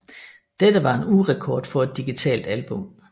Dette var en ugerekord for et digitalt album